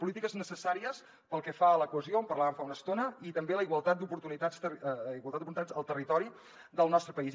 polítiques necessàries pel que fa a la cohesió en parlàvem fa una estona i també a la igualtat d’oportunitats al territori del nostre país